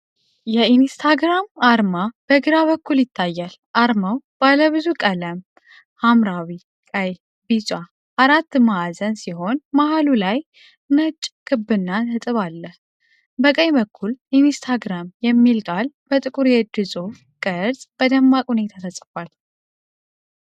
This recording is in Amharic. የኢንስታግራም አርማ በግራ በኩል ይታያል። አርማው ባለ ብዙ ቀለም (ሐምራዊ፣ ቀይ፣ ቢጫ) አራት ማዕዘን ሲሆን መሀሉ ላይ ነጭ ክብና ነጥብ አለ። በቀኝ በኩል "ኢንስታግራም" የሚለው ቃል በጥቁር የእጅ ጽሑፍ ቅርጽ በደማቅ ሁኔታ ተጽፏል።